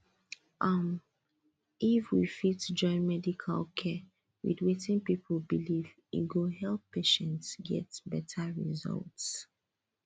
um if we fit join medical care with wetin people believe e go help patients get better result